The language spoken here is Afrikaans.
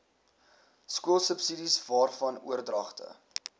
skoolsubsidies waarvan oordragte